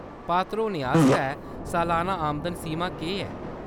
पात्र होने आस्तै सलाना आमदन सीमा केह्‌‌ ऐ ?